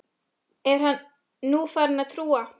Er hann nú farinn að trúa?